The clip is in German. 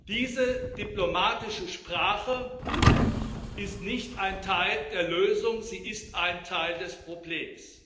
Diese diplomatische Sprache ist nicht ein Teil der Lösung, sie ist ein Teil des Problems.